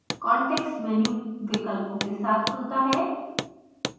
context menu विकल्पों के साथ खुलता है